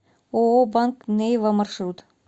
ооо банк нейва маршрут